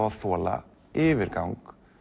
að þola yfirgang